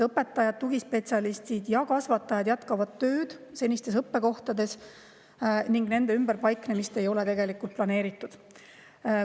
Õpetajad, tugispetsialistid ja kasvatajad jätkavad tööd senistes õppekohtades ning nende ümberpaiknemist ei ole planeeritud.